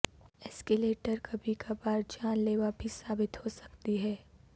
escalator کبھی کبھار جان لیوا بھی ثابت ہو سکتی ہے